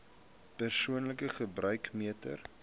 persoonlike gebruik meter